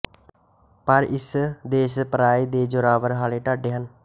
ਪਰ ਇਸ ਦੇਸ਼ ਪਰਾਏ ਦੇ ਜੋਰਾਵਰ ਹਾਲੇ ਡਾਢੇ ਹਨ